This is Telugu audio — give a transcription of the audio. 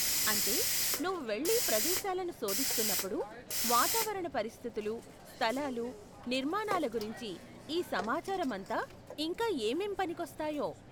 అంటే, నువ్వు వెళ్లి ప్రదేశాలను శోధిస్తున్నప్పుడు, వాతావరణ పరిస్థితులు, స్థలాలు, నిర్మాణాల గురించి ఈ సమాచారం అంతా, ఇంకా ఏమేం పనికోస్తాయో?